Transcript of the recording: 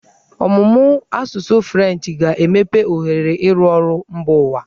Ọmụmụ asụsụ Frenchị ga-emepe ohere ịrụ ọrụ mba ụwa.